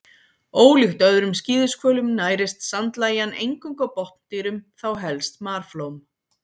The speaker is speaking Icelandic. Ólíkt öðrum skíðishvölum nærist sandlægjan eingöngu á botndýrum, þá helst marflóm.